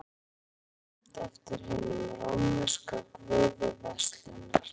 merkúríus er nefnd eftir hinum rómverska guði verslunar